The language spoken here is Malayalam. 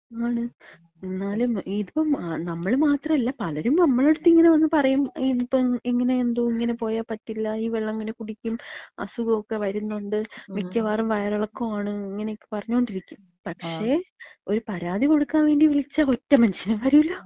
ആണ്. എന്നാലും ഇതിപ്പം നമ്മൾ മാത്രല്ല പലരും നമ്മളട്ത്ത് വന്ന് ഇങ്ങനെ പറയു, ഇങ്ങനെ എന്തോ ഇങ്ങനെ പോയാൽ പറ്റില്ല, ഈ വെള്ളം എങ്ങനെ കുടിക്കും, അസുഖൊക്കെ വര്ന്ന്ണ്ട്, മിക്കവാറും വയറിളക്കാണ് ഇങ്ങനൊക്കെ പറഞ്ഞോണ്ടിരിക്കും. പക്ഷേ, ഒരു പരാതി കൊട്ക്കാൻ വേണ്ടി വിളിച്ചാ ഒറ്റ മന്ഷ്യനും വരൂല.